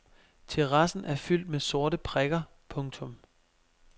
Terrassen er fyldt med sorte prikker. punktum